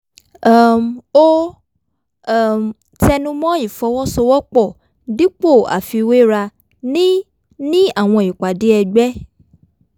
um ó um tẹnu mọ́ ìfọwọ́sowọ́pọ̀ dípò àfiwéra ní ní àwọn ìpàdé ẹgbẹ́